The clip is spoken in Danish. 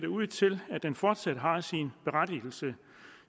ud til at den fortsat har sin berettigelse